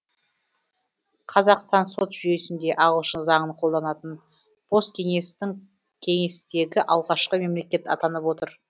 қазақстан сот жүйесінде ағылшын заңын қолданатын посткеңестің кеңестегі алғашқы мемлекет атанып отыр